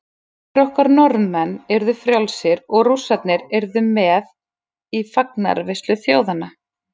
Frændur okkar Norðmenn yrðu frjálsir og Rússarnir yrðu með í fagnaðarveislu þjóðanna.